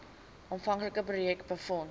aanvanklike projek befonds